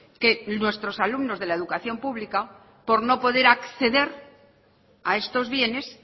que nuestros alumnos de la educación pública por no poder acceder a estos bienes